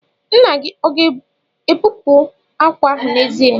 Nna gị ọ ga-ebupu àkwà ahụ n'èzí?